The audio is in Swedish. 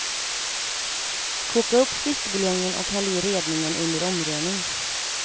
Koka upp fiskbuljongen och häll i redningen under omrörning.